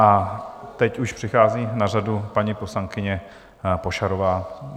A teď už přichází na řadu paní poslankyně Pošarová.